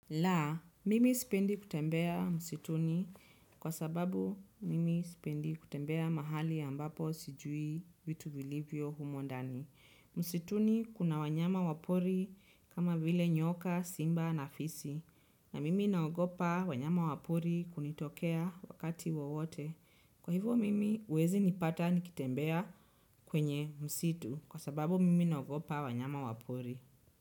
La, mimi sipendi kutembea msituni kwa sababu mimi sipendi kutembea mahali ambapo sijui vitu vilivyo humo ndani. Msituni kuna wanyama wa pori kama vile nyoka, simba na fisi. Na mimi naogopa wanyama wa pori kunitokea wakati wowote. Kwa hivyo mimi huwezi nipata nikitembea kwenye msitu kwa sababu mimi naogopa wanyama wa pori.